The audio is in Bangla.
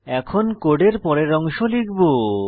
এখন কোডের পরের অংশ লিখব